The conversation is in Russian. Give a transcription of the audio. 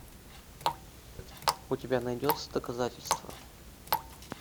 у тебя найдется доказательство